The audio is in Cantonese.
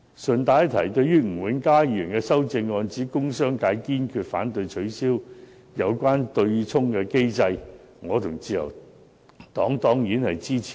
順帶一提，對於吳永嘉議員的修正案，指"工商業界堅決反對取消有關對沖機制"，我和自由黨當然支持。